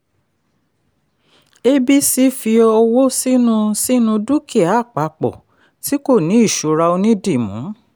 abc fi owó sínú sínú dúkìá àpapọ̀ tí kò ní ìṣura onídìmú.